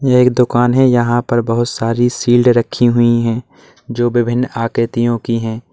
यह एक दोकान है यहां पर बहोत सारी शील्ड रखी हुई है जो विभिन्न आकृतियों की है।